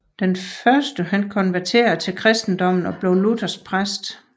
Den første konverterede til kristendommen og blev luthersk præst